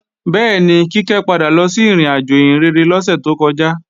Bẹ́ẹ̀ni, Kíkẹ́ padà lọ sí ìrìnàjò ìhìnrere lọ́sẹ̀ tó kọjá